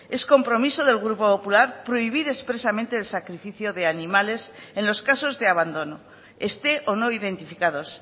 es compromiso del grupo popular prohibir expresamente el sacrificio de animales en los casos de abandono esté o no identificados